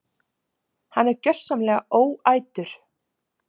Hann er gjörsamlega óætur!